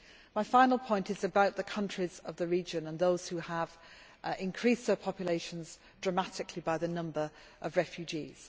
My final point concerns the countries of the region and those who have increased their populations dramatically by the number of refugees.